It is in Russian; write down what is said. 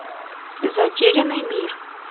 затерянный мир